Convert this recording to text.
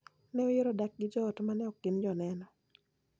Ne oyiero dak gi joot ma ne ok gin Joneno.